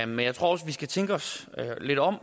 men jeg tror også vi skal tænke os lidt om